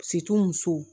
musow